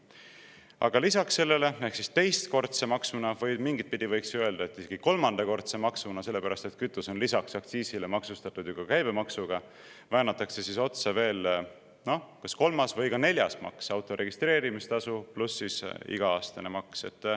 Aga lisaks sellele teistkordsele maksule – või mingit pidi võiks öelda, et isegi kolmandale maksule, sellepärast et kütus on peale aktsiisi maksustatud ju ka käibemaksuga – väänatakse otsa veel, noh, kas kolmas või neljas maks: auto registreerimistasu pluss iga-aastane maks.